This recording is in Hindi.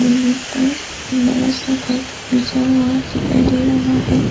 पर एक बड़ा सा कारपेट बिछा हुआ दिखाई दे रहा है।